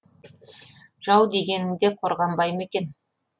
жау дегенің де қорғанбай ма екен